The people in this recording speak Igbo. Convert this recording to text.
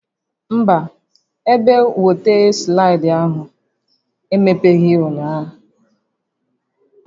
Mba, ebe wọta slaịdị ahụ emepeghị ụnyaahụ